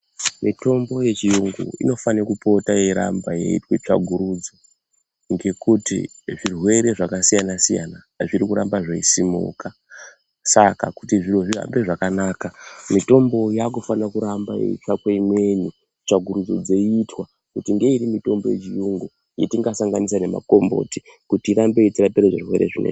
Mitombo yechiyungu inofane kupota yeiramba yeite tsvakurudzo ngekuti zvirwere zvakasiyana siyana zviri kuramba zveisimuka saka kuti zviro zvihambe zvakanaka mitombo yakufana kuramba yeitsvakwe imweni tsvakurudzo dzeitwa kuti ngeiri mutombo yechiyungu yetingasanganisa nemakomboti kuti irambe yechirape zvirwere zvo.